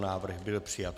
Návrh byl přijat.